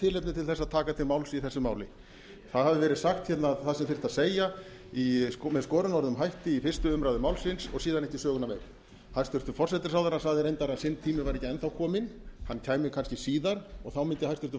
tilefni til að taka til máls í þessu máli það hefur verið sagt það sem þurfti að segja með skorinorðum hætti í fyrstu umræðu málsins og síðan ekki söguna meir hæstvirtur forsætisráðherra sagði reyndar að sinn tími væri ekki enn þá kominn hann kæmi kannski síðar og þá mundi hæstvirtur